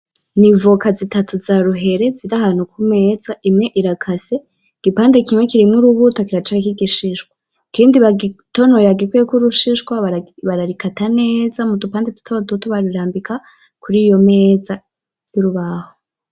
Nivoka zitatu za ruhere ziri ahantu kumeza ,imwe irakase igipande kimwe kirimwo urubuto kiracariko igishishwa, ikindi bagitontonoye barikurako urushishwa bararikata neza mudupande dutoduto barirambika kuriyomeza yurubaho .